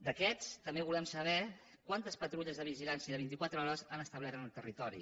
d’aquests també volem saber quantes patrulles de vigilància de vint i quatre hores han establert en el territori